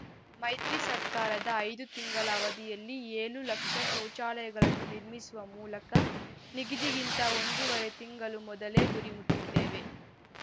ಮೈತ್ರಿ ಸರ್ಕಾರದ ಐದು ತಿಂಗಳ ಅವಧಿಯಲ್ಲಿ ಏಳು ಲಕ್ಷ ಶೌಚಾಲಯಗಳನ್ನು ನಿರ್ಮಿಸುವ ಮೂಲಕ ನಿಗದಿಗಿಂತ ಒಂದೂವರೆ ತಿಂಗಳು ಮೊದಲೇ ಗುರಿ ಮುಟ್ಟಿದ್ದೇವೆ